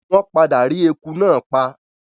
Wọ́n padà rí ẹku náà pa.